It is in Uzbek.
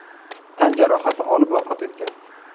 tan jarohati olib, vafot etgan.